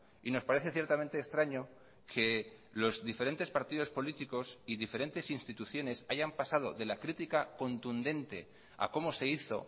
y nos parece ciertamente extraño que los diferentes partidos políticos y diferentes instituciones hayan pasado de la critica contundente a cómo se hizo